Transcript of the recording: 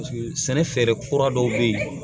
sɛnɛ fɛɛrɛ kura dɔw bɛ yen